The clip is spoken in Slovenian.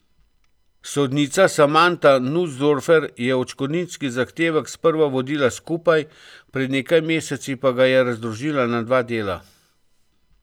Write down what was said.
Sodnica Samanta Nusdorfer je odškodninski zahtevek sprva vodila skupaj, pred nekaj meseci pa ga je razdružila na dva dela.